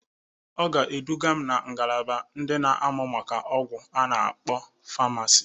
Ọ ga-eduga m na ngalaba ndị na amụ maka ọgwụ a na-akpọ Famasị.